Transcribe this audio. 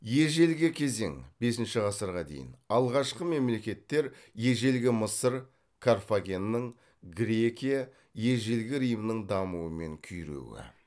ежелгі кезең алғашқы мемлекеттер ежелгі мысыр карфагеннің грекия ежелгі римнің дамуы мен күйреуі